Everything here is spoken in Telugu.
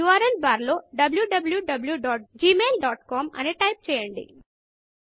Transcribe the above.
ఉర్ల్ బార్ లో wwwgmailcom అని టైప్ చేయండి